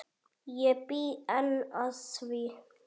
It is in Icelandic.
Ég bý enn að því.